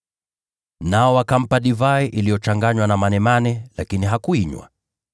Nao wakampa divai iliyochanganywa na manemane, lakini hakuinywa.